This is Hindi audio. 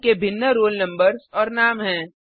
उनके भिन्न रोल नम्बर्स और नाम हैं